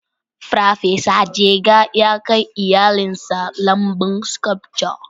Farfesa Jega ya kai iyalinsa lambun sculptor